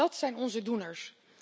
Dat zijn onze doeners.